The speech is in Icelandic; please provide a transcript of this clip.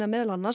meðal annars